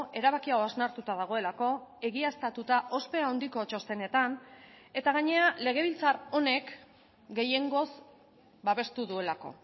erabaki hau hausnartuta dagoelako egiaztatuta ospe handiko txostenetan eta gainera legebiltzar honek gehiengoz babestu duelako